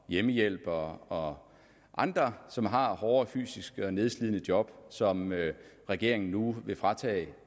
hjemmehjælpere og andre som har hårde fysisk nedslidende job som regeringen nu vil fratage